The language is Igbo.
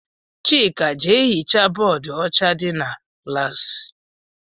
Chika jee hichaa bóódú ọcha dị n' klassi!!!